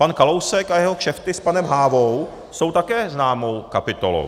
Pan Kalousek a jeho kšefty s panem Hávou jsou také známou kapitolou.